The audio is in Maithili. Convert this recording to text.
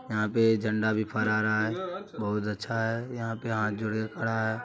यहां पे झंडा भी फहरा रहा है बहुत अच्छा है यहां पे हाथ जोड़ कर खड़ा है।